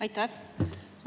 Aitäh!